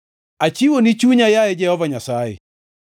Achiwoni chunya, yaye Jehova Nyasaye;